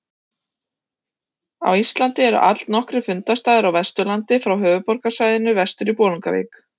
Á Íslandi eru allnokkrir fundarstaðir á Vesturlandi frá höfuðborgarsvæðinu vestur í Bolungarvík.